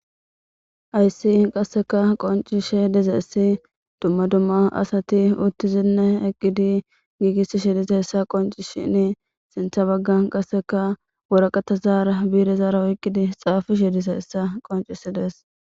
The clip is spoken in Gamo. Hyssi qasseka qoncishe diza essi dumma dumma asati uttizinne eqqidi giigisi shi disa hessa qonci shini sintha baggan qasseka woraqata zaara biire zaara oyqqidi xaafu shi disa hessa qoncisides.